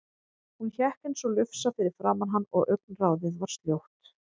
Hún hékk eins og lufsa fyrir framan hann og augnaráðið var sljótt.